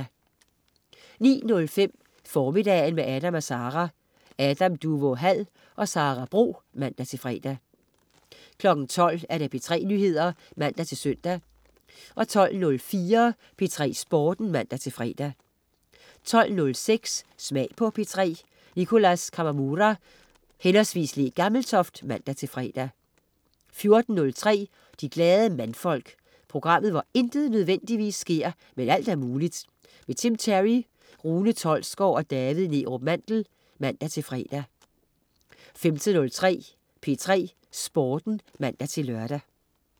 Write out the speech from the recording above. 09.05 Formiddagen med Adam & Sara. Adam Duvå Hall og Sara Bro (man-fre) 12.00 P3 Nyheder (man-søn) 12.04 P3 Sporten (man-fre) 12.06 Smag på P3. Nicholas Kawamura/Le Gammeltoft (man-fre) 14.03 De Glade Mandfolk. Programmet hvor intet nødvendigvis sker, men alt er muligt. Tim Terry, Rune Tolsgaard og David Neerup Mandel (man-fre) 15.03 P3 Sporten (man-lør)